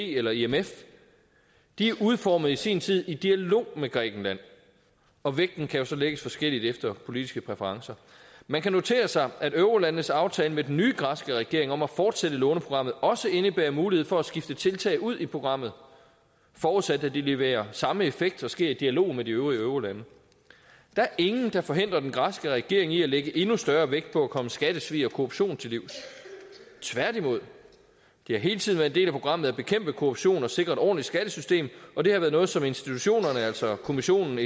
eller imf de er udformet i sin tid i dialog med grækenland og vægten kan så lægges forskelligt efter politiske præferencer man kan notere sig at eurolandenes aftale med den nye græske regering om at fortsætte låneprogrammet også indebærer mulighed for at skifte tiltag ud i programmet forudsat at de leverer samme effekt og sker i dialog med de øvrige eurolande der er ingen der forhindrer den græske regering i at lægge endnu større vægt på at komme skattesvig og korruption til livs tværtimod det har hele tiden været en del af programmet at bekæmpe korruption og sikre et ordentligt skattesystem og det har været noget som institutionerne altså kommissionen